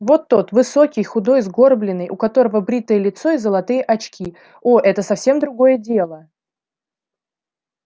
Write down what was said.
вот тот высокий худой сгорбленный у которого бритое лицо и золотые очки о это совсем другое дело